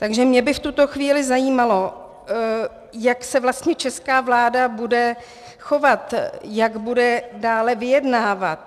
Takže mě by v tuto chvíli zajímalo, jak se vlastně česká vláda bude chovat, jak bude dále vyjednávat.